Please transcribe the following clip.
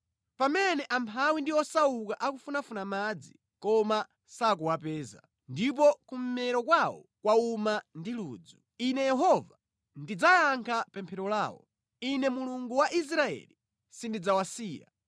“Pamene amphawi ndi osauka akufunafuna madzi, koma sakuwapeza; ndipo kummero kwawo kwawuma ndi ludzu. Ine Yehova ndidzayankha pemphero lawo; Ine, Mulungu wa Israeli, sindidzawasiya.